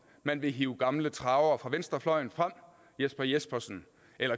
man vil hive gamle travere fra venstrefløjen jesper jespersen